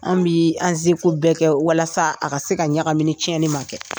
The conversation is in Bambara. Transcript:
An bi an seko bɛɛ kɛ walasa a ka se ka ɲagami ni tiɲɛnni man kɛ.